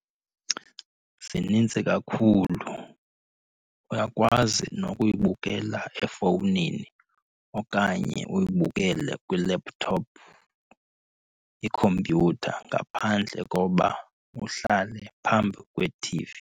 Zinintsi kakhulu. Uyakwazi nokuyibukela efowunini okanye uyibukele kwi-laptop, ikhompyutha ngaphandle koba uhlale phambi kwe-T_V.